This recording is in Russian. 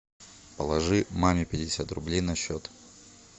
положи маме пятьдесят рублей на счет